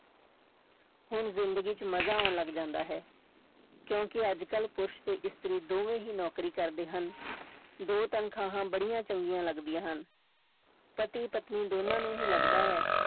ਹੁਣ ਜ਼ਿੰਦਗੀ ਚ ਮਜ਼ਾ ਆਉਣ ਲੱਗ ਜਾਂਦਾ ਹੈ, ਕਿਉਂਕਿ ਅੱਜ ਕੱਲ੍ਹ ਪੁਰਸ਼ ਤੇ ਇਸਤਰੀ ਦੋਵੇਂ ਹੀ ਨੌਕਰੀ ਕਰਦੇ ਹਨ, ਦੋ ਤਨਖ਼ਾਹਾਂ ਬੜੀਆਂ ਚੰਗੀਆਂ ਲੱਗਦੀਆਂ ਹਨ, ਪਤੀ ਪਤਨੀ ਦੋਨਾਂ ਨੂੰ ਹੀ ਲੱਗਦਾ ਹੈ